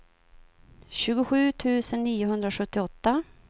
tjugosju tusen niohundrasjuttioåtta